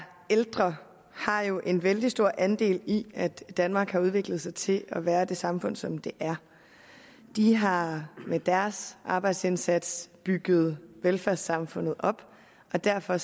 ældre har jo en vældig stor andel i at danmark har udviklet sig til at være det samfund som det er de har med deres arbejdsindsats bygget velfærdssamfundet op og derfor